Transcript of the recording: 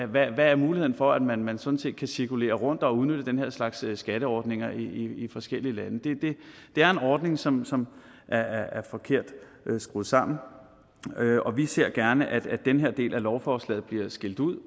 hvad er muligheden for at man man sådan set kan cirkulere rundt og udnytte den her slags skatteordninger i forskellige lande det er en ordning som som er er forkert skruet sammen og vi ser gerne at den her del af lovforslaget bliver skilt ud